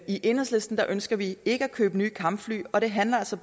i enhedslisten ønsker vi ikke at købe nye kampfly og det handler